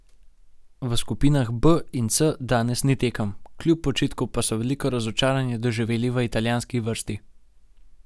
V skupinah B in C danes ni tekem, kljub počitku pa so veliko razočaranje doživeli v italijanski vrsti.